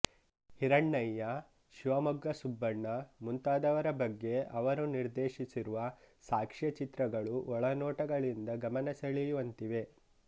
ಹಿರಣ್ಣಯ್ಯ ಶಿವಮೊಗ್ಗ ಸುಬ್ಬಣ್ಣ ಮುಂತಾದವರ ಬಗ್ಗೆ ಅವರು ನಿರ್ದೇಶಿಸಿರುವ ಸಾಕ್ಷ್ಯಚಿತ್ರಗಳು ಒಳನೋಟಗಳಿಂದ ಗಮನ ಸೆಳೆಯುವಂತಿವೆ